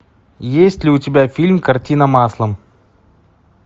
есть ли у тебя фильм картина маслом